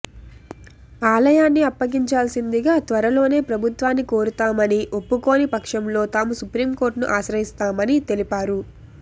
ఆలయాన్ని అప్పగించాల్సిందిగా త్వరలోనే ప్రభుత్వాన్ని కోరతామని ఒప్పుకోని పక్షంలో తాము సుప్రీంకోర్టును ఆశ్రయిస్తామని తెలిపారు